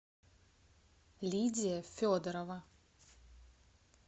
лидия федорова